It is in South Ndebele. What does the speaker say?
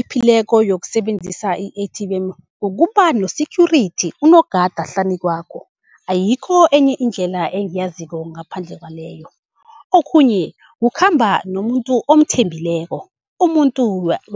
ephephileko yokusebenzisa i-A_T_M kukuba no-security unogada hlanu kwakho. Ayikho enye indlela engiyaziko ngaphandle kwaleyo. Okhunye kukhamba nomuntu omthembileko, umuntu